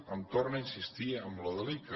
em torna a insistir en lo de l’ica